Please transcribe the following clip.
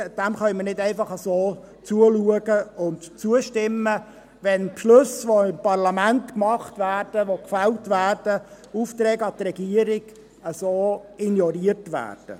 Wir können nicht einfach zuschauen und zustimmen, wenn Beschlüsse, die im Parlament gefällt werden, und Aufträge an die Regierung auf diese Weise ignoriert werden.